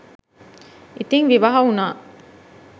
ඉතින් විවාහ වුණා